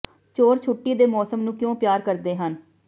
ਚੋਰ ਛੁੱਟੀ ਦੇ ਮੌਸਮ ਨੂੰ ਕਿਉਂ ਪਿਆਰ ਕਰਦੇ ਹਨ